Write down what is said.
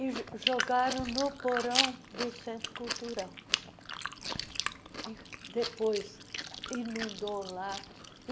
e jo jogaram no porão do Centro Cultural, que depois inundou lá.